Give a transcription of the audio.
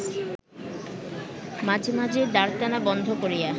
মাঝে মাঝে দাঁড়টানা বন্ধ করিয়া